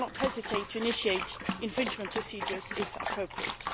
We will not hesitate to initiate infringement procedures if appropriate.